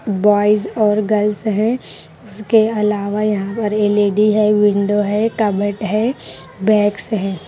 Boys और girls हैं उसके अलावा यहाँ पर एल_ ई_ डी है विंडो है कबर्ड है बैग्स हैं।